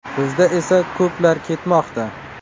Bizda esa ko‘plar ketmoqda.